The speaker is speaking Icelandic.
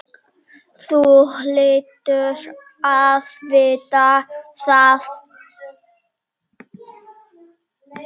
Þú hlýtur að vita það.